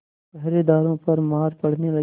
पहरेदारों पर मार पड़ने लगी